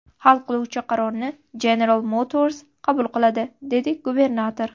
Hal qiluvchi qarorni General Motors qabul qiladi”, dedi gubernator.